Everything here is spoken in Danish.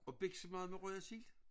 Og biksemad med røget sild?